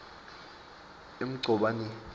emgcobaneni